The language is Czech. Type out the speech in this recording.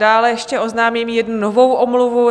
Dále ještě oznámím jednu novou omluvu.